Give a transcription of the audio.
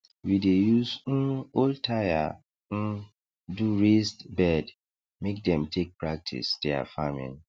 we dey use um old tyre um do raised bed make dem take practise their farming